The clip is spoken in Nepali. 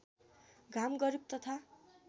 घाम गरिब तथा